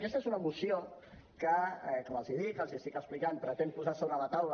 aquesta és una moció que com els dic i els explico pretén posar sobre la taula